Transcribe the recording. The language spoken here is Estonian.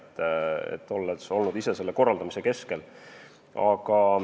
Tean seda, sest olen olnud ise selle korraldamise keskel.